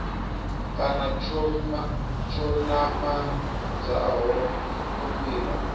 kana tsho namedzaho u fhira